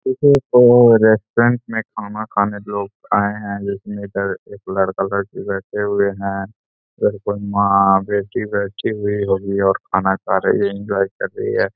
इसे तो रेस्टोरेंट में खाना खाने लोग आए हैं जिसमें इधर एक लड़का-लड़की बैठे हुए हैं इधर कोई माँ बेटी बैठी हुई होगी और खाना खा रही है एन्जॉय कर रही है।